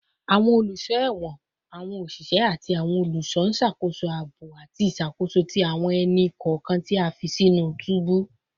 Awọn oluso ẹwọn, awọn oṣiṣẹ, ati awọn oluṣọ n ṣakoso aabo ati iṣakoso ti awọn ẹni-kọọkan ti a fi sinu tubu